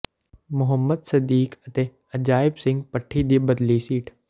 ਮੁਹੰਮਦ ਸਦੀਕ ਅਤੇ ਅਜਾਇਬ ਸਿੰਘ ਭੱਟੀ ਦੀ ਬਦਲੀ ਸੀਟ